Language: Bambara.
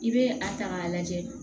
I bɛ a ta k'a lajɛ